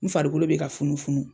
N farikolo be ka funufunu